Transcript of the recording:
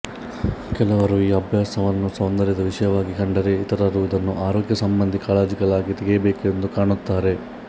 ಕೆಲವರು ಈ ಅಭ್ಯಾಸವನ್ನು ಸೌಂದರ್ಯದ ವಿಷಯವಾಗಿ ಕಂಡರೆ ಇತರರು ಇದನ್ನು ಆರೋಗ್ಯ ಸಂಬಂಧಿ ಕಾಳಜಿಗಳಿಗಾಗಿ ತೆಗೆಯಬೇಕೆಂದು ಕಾಣುತ್ತಾರೆ